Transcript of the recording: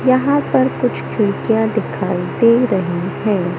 यहां पर कुछ खिड़कियां दिखाई दे रही हैं।